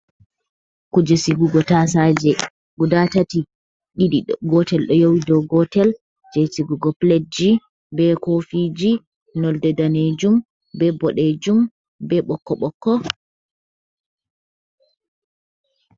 Kuje sigugo tasaje, guda tati ɗiɗi gotel do yowi dow gotel, je sigugo pletji be kofiji nolde danejum be bodejum be ɓokko ɓokko.